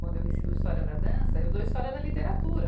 Quando eu ensino história da dança, eu dou história da literatura.